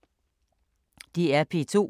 DR P2